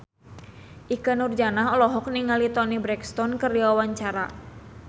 Ikke Nurjanah olohok ningali Toni Brexton keur diwawancara